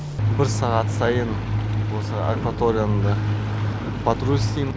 бір сағат сайын осы акваторияны да патруль істейм